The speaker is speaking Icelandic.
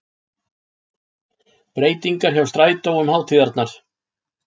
Breytingar hjá strætó um hátíðarnar